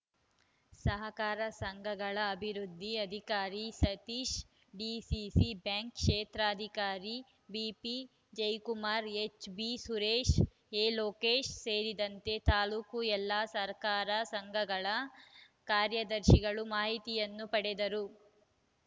ಸಹಕಾರ ಸಂಘಗಳ ಅಭಿವೃದ್ದಿ ಅಧಿಕಾರಿ ಸತೀಶ್‌ಡಿಸಿಸಿ ಬ್ಯಾಂಕ್‌ ಕ್ಷೇತ್ರಾಧಿಕಾರಿ ಬಿಪಿಜಯಕುಮಾರ್‌ಎಚ್‌ಬಿಸುರೇಶ್‌ಎಲೋಕೇಶ್‌ ಸೇರಿದಂತೆ ತಾಲೂಕಿನ ಎಲ್ಲಾ ಸಹಕಾರ ಸಂಘಗಳ ಕಾರ್ಯದರ್ಶಿಗಳು ಮಾಹಿತಿಯನ್ನು ಪಡೆದರು